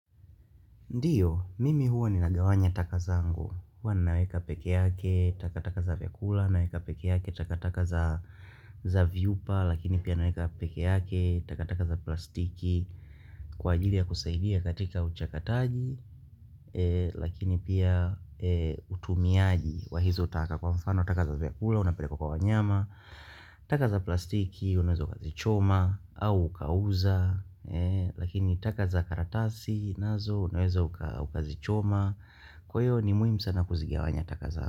Ndiyo, mimi huo ni nagawanya takazango, hua naweka peke yake, takataka za vyakula, naweka peke yake, takataka za vyupa, lakini pia naweka peke yake, takataka za plastiki, kwa ajili ya kusaidia katika uchakataji, lakini pia utumiaji wa hizotaka. Kwa mfano, taka za vyakula, unapele kwa kwa wanyama. Taka za plastiki, unawezo ukazi choma au ukauza. Lakini taka za karatasi, nazo, unawezo ukazi choma. Kwa hiyo ni muhimu sana kuzigia wanya taka zako.